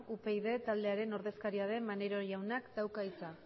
upyd taldearen ordezkaria den maneiro jaunak dauka hitza